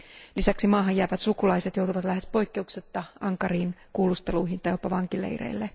Lisäksi maahan jäävät sukulaiset joutuvat lähes poikkeuksetta ankariin kuulusteluihin tai jopa vankileireille.